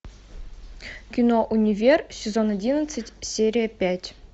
кино универ сезон одиннадцать серия пять